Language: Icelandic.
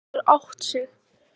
Hann getur átt sig.